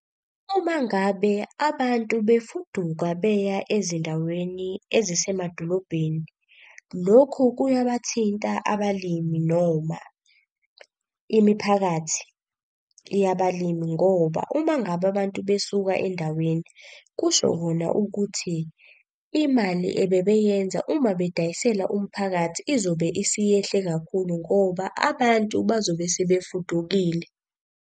Uma ngabe abantu befuduka beya ezindaweni ezisemadolobhedeni, lokhu kuyabathinta abalimi noma imiphakathi yabalimi ngoba uma ngabe abantu besuka endaweni kusho kona ukuthi imali ebebeyenza uma bedayisela umphakathi izobe isiyehle kakhulu. Ngoba abantu bazobe sebefudukile.